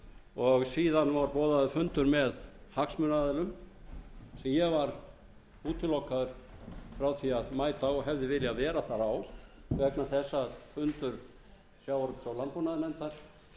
og síðan var boðaður fundur með hagsmunaaðilum sem ég var útilokaður frá því að mæta á og hefði viljað vera þar á vegna þess að fundur sjávarútvegs og landbúnaðarnefndar féll saman við fund